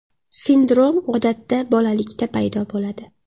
Sindrom odatda bolalikda paydo bo‘ladi.